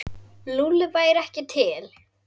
Lúlli væri ekki til.